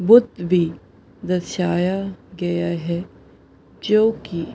भी दर्शाया गया है। जो की--